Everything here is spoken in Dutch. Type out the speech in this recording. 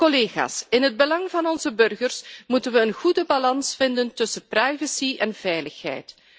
Collega's, in het belang van onze burgers moeten we een goede balans vinden tussen privacy en veiligheid.